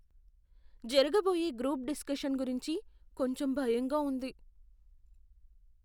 జరగబోయే group discussion గురించి కొంచెం భయంగా ఉంది.